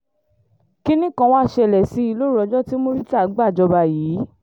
kínní kan wàá ṣẹlẹ̀ sí i lóru ọjọ́ tí murità gbàjọba yìí